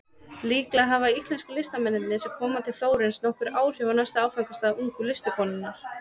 Líklega hafa íslensku listamennirnir sem koma til Flórens nokkur áhrif á næsta áfangastað ungu listakonunnar.